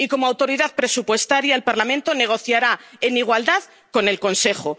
Y, como autoridad presupuestaria, el Parlamento negociará en igualdad con el Consejo.